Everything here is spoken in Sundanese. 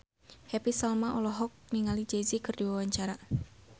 Happy Salma olohok ningali Jay Z keur diwawancara